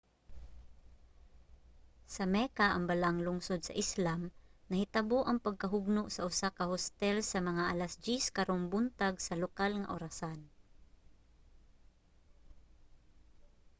sa mecca ang balaang lungsod sa islam nahitabo ang pagkahugno sa usa ka hostel sa mga alas 10 karong buntag sa lokal nga orasan